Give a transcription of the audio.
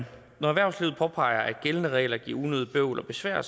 når erhvervslivet påpeger at gældende regler giver unødigt bøvl og besvær